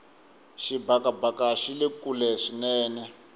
xibakabaka xile kule swinene